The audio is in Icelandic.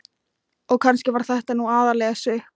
Og kannski var þetta nú aðallega sukk.